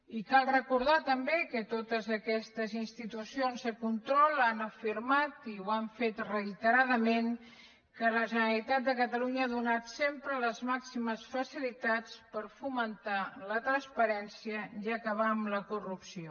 i cal recordar també que totes aquestes institucions de control han afirmat i ho han fet reiteradament que la generalitat de catalunya ha donat sempre les màximes facilitats per fomentar la transparència i acabar amb la corrupció